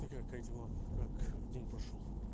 ты как как дела как день прошёл